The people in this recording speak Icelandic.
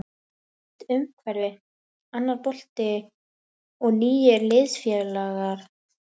Nýtt umhverfi, annar bolti og nýir liðsfélagar.